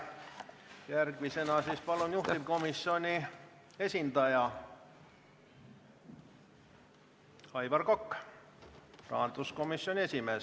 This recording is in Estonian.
Järgmisena palun kõnepulti juhtivkomisjoni esindaja Aivar Koka, rahanduskomisjoni esimehe.